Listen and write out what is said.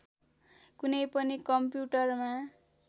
कुनै पनि कम्प्युटरमा